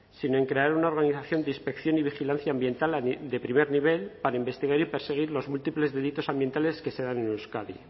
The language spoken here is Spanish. sino en crear una organización de inspección y vigilancia ambiental de primer nivel para investigar y perseguir los múltiples delitos ambientales que se dan en euskadi